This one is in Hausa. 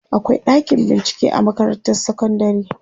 akwai ɗakin bincike a makarantar sekondari